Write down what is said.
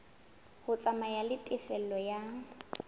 ho tsamaya le tefello ya